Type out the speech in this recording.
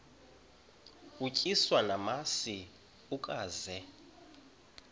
utyiswa namasi ukaze